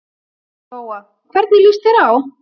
Lóa: Hvernig líst þér á?